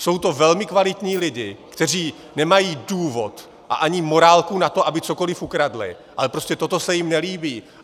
Jsou to velmi kvalitní lidé, kteří nemají důvod a ani morálku na to, aby cokoli ukradli, ale prostě toto se jim nelíbí.